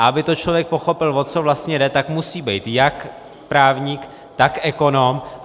A aby to člověk pochopil, o co vlastně jde, tak musí být jak právník, tak ekonom.